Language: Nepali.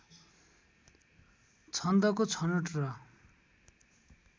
छन्दको छनोट र